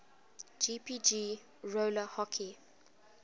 jpg roller hockey